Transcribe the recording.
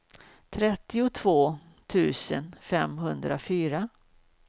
trettiotvå tusen femhundrafyra